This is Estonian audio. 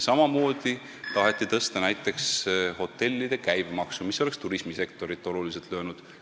Samamoodi taheti tõsta näiteks hotellide käibemaksu, mis oleks turismisektorit oluliselt löönud.